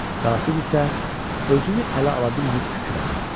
Qasid isə özünü ələ ala bilməyib kükrədi.